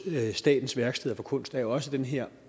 statens værksteder for kunst er jo også den her